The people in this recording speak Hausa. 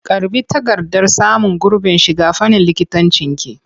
Karɓi takardar samun gurbin shiga fannin likitancinki!